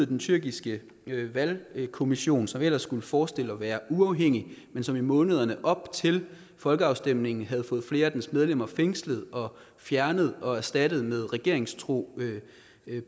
den tyrkiske valgkommission som ellers skulle forestille at være uafhængig men som i månederne op til folkeafstemningen havde fået flere af dens medlemmer fængslet og fjernet og erstattet med regeringstro